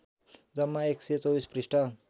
जम्मा १२४ पृष्ठ